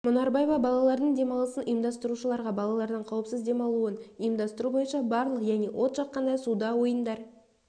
мұнарбаева балалардың демалысын ұйымдастырушыларға балалардың қауіпсіз демалуын ұйымдастыру бойынша барлық яғни от жаққанда суда ойындар